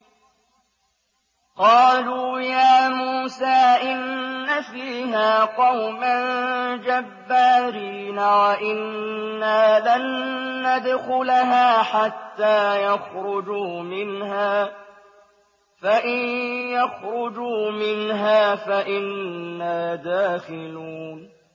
قَالُوا يَا مُوسَىٰ إِنَّ فِيهَا قَوْمًا جَبَّارِينَ وَإِنَّا لَن نَّدْخُلَهَا حَتَّىٰ يَخْرُجُوا مِنْهَا فَإِن يَخْرُجُوا مِنْهَا فَإِنَّا دَاخِلُونَ